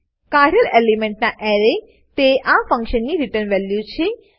કાઢેલ એલિમેન્ટના એરે તે આ ફંક્શનની રીટર્ન વેલ્યુ છે